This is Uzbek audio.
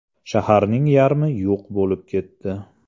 Shaharning yarmi yo‘q bo‘lib ketdi.